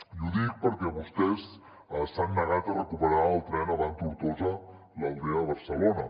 i ho dic perquè vostès s’han negat a recuperar el tren avant tortosa l’aldea barcelona